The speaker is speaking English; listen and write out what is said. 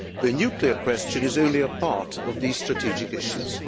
The nuclear question is only a part of these strategic issues.